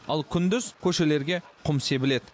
ал күндіз көшелерге құм себіледі